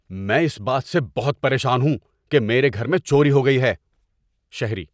میں اس بات سے بہت پریشان ہوں کہ میرے گھر میں چوری ہو گئی ہے۔ (شہری)